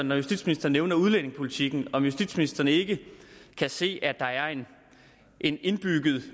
når justitsministeren nævner udlændingepolitikken om justitsministeren ikke kan se at der er en en indbygget